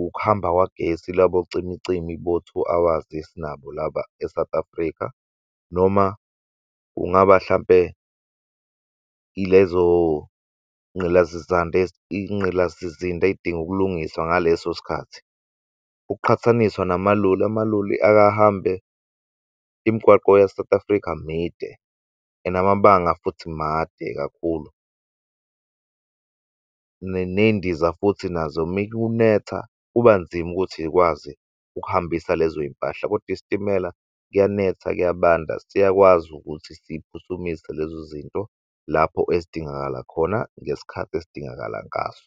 ukuhamba kukagesi labo cimicimi bo-two hours esinabo laba e-South Africa noma kungaba hlampe ilezo inqilasizinda ezidinga ukulungiswa ngaleso sikhathi. Ukuqhathaniswa namaloli, amaloli akahambe imigwaqo ya-South Africa mide and amabanga futhi made kakhulu. Ney'ndiza futhi nazo mekunetha kuba nzima ukuthi yikwazi ukuhambisa lezoyimpahla kodwa isitimela kuyanetha kuyabanda siyakwazi ukuthi siphuthumise lezo zinto lapho ezidingakala khona ngesikhathi esidingakala ngaso.